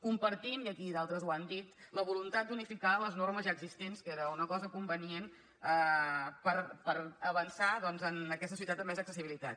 compartim i d’altres ho han dit la voluntat d’unificar les normes ja existents que era una cosa convenient per avançar doncs en aquesta societat de més accessibilitat